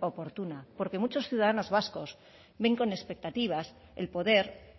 oportuna porque muchos ciudadanos vascos ven con expectativas el poder